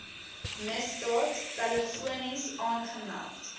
misdaad telefonies aangemeld